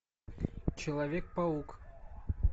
человек паук